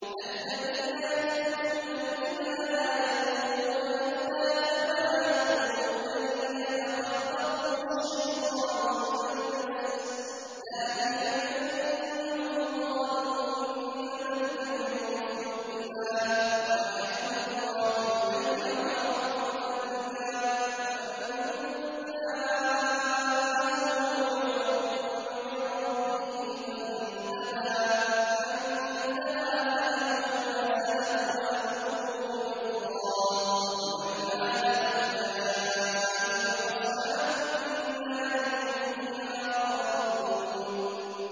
الَّذِينَ يَأْكُلُونَ الرِّبَا لَا يَقُومُونَ إِلَّا كَمَا يَقُومُ الَّذِي يَتَخَبَّطُهُ الشَّيْطَانُ مِنَ الْمَسِّ ۚ ذَٰلِكَ بِأَنَّهُمْ قَالُوا إِنَّمَا الْبَيْعُ مِثْلُ الرِّبَا ۗ وَأَحَلَّ اللَّهُ الْبَيْعَ وَحَرَّمَ الرِّبَا ۚ فَمَن جَاءَهُ مَوْعِظَةٌ مِّن رَّبِّهِ فَانتَهَىٰ فَلَهُ مَا سَلَفَ وَأَمْرُهُ إِلَى اللَّهِ ۖ وَمَنْ عَادَ فَأُولَٰئِكَ أَصْحَابُ النَّارِ ۖ هُمْ فِيهَا خَالِدُونَ